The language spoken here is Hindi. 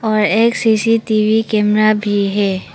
और एक सी_सी_टी_वी कैमरा भी है।